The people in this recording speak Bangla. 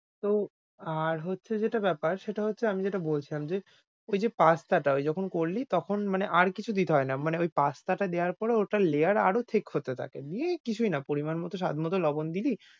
তো আর হচ্ছে যেটা বেপার সেটা হচ্ছে আমি যেটা বলছিলাম, যে ঐযে pasta টা করলি তখন মানে আর কিছু দিতে হয় না, মানে ঐ pasta টা দেওয়ার পর ওটার layer আরও thick হতে থাকে দিয়ে কিছুই না পরিমাণ মতো স্বাদ মতো লবণ দিলি,